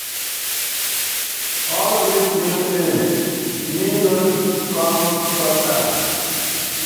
All this new new thing, me no come trust am.